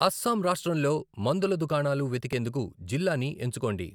అస్సాం రాష్ట్రంలో మందుల దుకాణాలు వెతికేందుకు జిల్లాని ఎంచుకోండి.